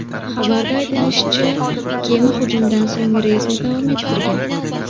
Xabarda aytilishicha, kema hujumdan so‘ng reysni davom ettirgan.